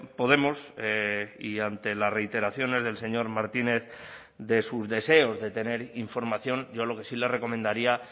podemos y ante las reiteraciones del señor martínez de sus deseos de tener información yo lo que sí le recomendaría